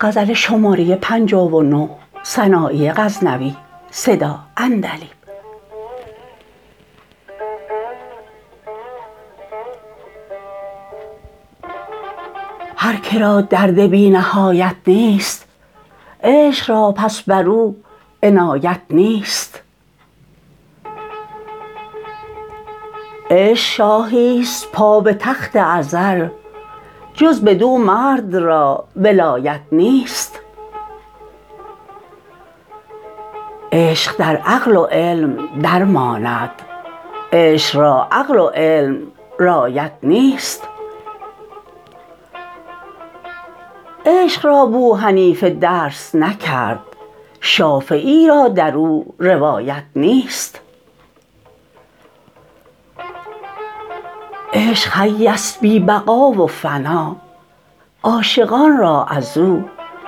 هرکه را درد بی نهایت نیست عشق را پس برو عنایت نیست عشق شاهی ست بر نجیب ازل جز ابد مر ورا ولایت نیست عشق در عقل و علم درناید عشق را عقل و علم رایت نیست عشق را بوحنیفه درس نکرد شافعی را در او روایت نیست عشق حی است بی بقا و فنا عاشقان را ازو